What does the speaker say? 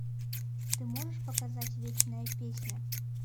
ты можешь показать вечная песня